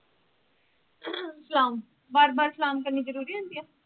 ਸਲਾਮ ਬਾਰ ਬਾਰ ਸਲਾਮ ਕਰਨੀ ਜਰੂਰੀ ਹੁੰਦੀ ਆ?